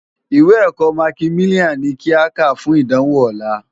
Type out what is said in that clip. Iwé èkò mákimiláni ni ki á ká fún idánwó òlá